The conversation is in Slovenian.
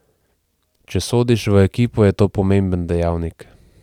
Če sodiš v ekipo, je to pomemben dejavnik.